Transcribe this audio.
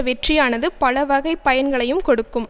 வெற்றியானது பல வகைப் பயன்களையும் கொடுக்கும்